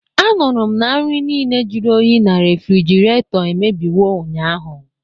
Anụrụ m na nri niile jụrụ oyi na refrjiraeto emebiwo ụnyaahụ